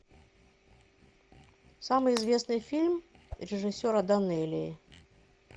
самый известный фильм режиссера данелии